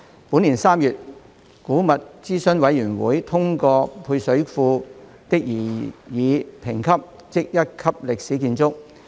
本年3月，古物諮詢委員會通過配水庫的擬議評級。